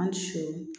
An si